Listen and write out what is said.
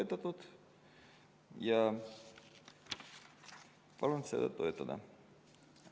Palun seda eelnõu toetada!